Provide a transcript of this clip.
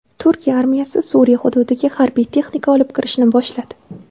Turkiya armiyasi Suriya hududiga harbiy texnika olib kirishni boshladi.